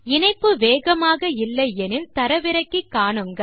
இணைப்பு வேகமாக இல்லை எனில் தரவிறக்கி காணலாம்